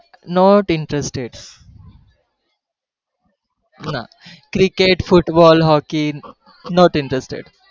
not interested ના cricket football hokey not interested